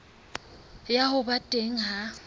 ya ho ba teng ha